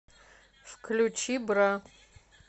включи бра